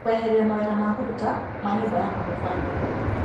Kũeheria mawĩra ma kũruta ma nyũmba yakwa mũbango-inĩ .